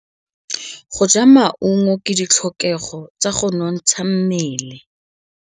Go ja maungo ke ditlhokegô tsa go nontsha mmele.